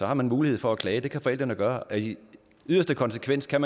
har man mulighed for at klage det kan forældrene gøre og i yderste konsekvens kan